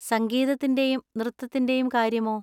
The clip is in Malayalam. സംഗീതത്തിന്‍റെയും നൃത്തത്തിന്‍റെയും കാര്യമോ?